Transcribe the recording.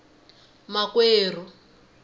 makwerhu